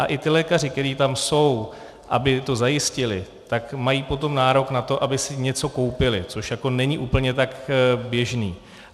A i ti lékaři, kteří tam jsou, aby to zajistili, tak mají potom nárok na to, aby si něco koupili, což jako není úplně tak běžné.